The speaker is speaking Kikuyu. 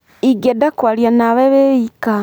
Ingĩenda kwaria na we wĩ ika.